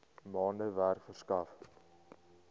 maande werk verskaf